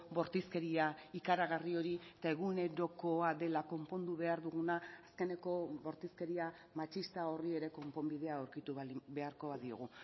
bortizkeria ikaragarri hori eta egunerokoa dela konpondu behar duguna azkeneko bortizkeria matxista horri ere konponbidea aurkitu beharko badiogu